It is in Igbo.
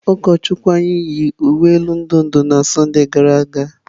Ụkọchukwu anyị yi uwe elu ndụ ndụ na Sọnde gara aga.